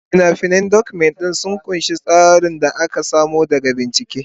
Fina-finan Document ɗin sun ƙunshi tsarin da aka samo daga bincike.